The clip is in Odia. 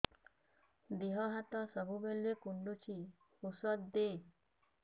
ଦିହ ହାତ ସବୁବେଳେ କୁଣ୍ଡୁଚି ଉଷ୍ଧ ଦେ